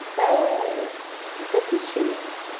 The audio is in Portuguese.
Isso é... Isso é fichinha, assim.